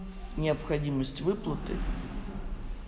необходимость выплаты